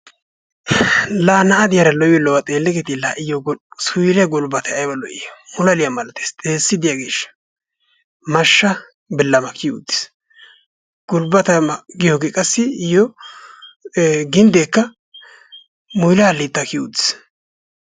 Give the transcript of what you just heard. la na'a diyaara lo''iyo lo''uwa xeellekketi la iyyo suuyliyaa gulbbatay aybba lo''i mulalliya malatees, xeessi diyaageeshsha mashsha bilamma kiyyi uttiis. gulbbata giyooge qassi iyyo ginddekka muyilla halitta kiyyi uttiis.